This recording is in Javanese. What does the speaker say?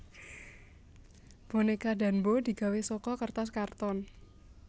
Bonéka Danbo digawé saka kertas karton